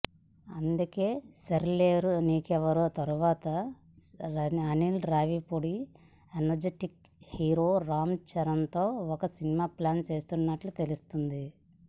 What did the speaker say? అందుకే సరిలేరు నీకెవ్వరు తర్వాత Anil Ravipudi energetic hero Ram తో ఒక సినిమా ప్లాన్ చేస్తున్నట్లు తెలుస్తోంది